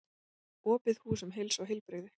Opið hús um heilsu og heilbrigði